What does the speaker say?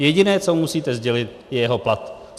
Jediné, co musíte sdělit, je jeho plat.